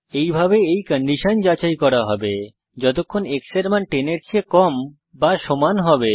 এইভাবে এই কন্ডিশন যাচাই করা হবে যতক্ষণ x এর মান 10 এর চেয়ে কম বা সমান হবে